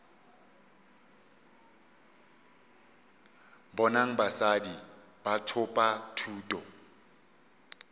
bonang basadi ba thopa thuto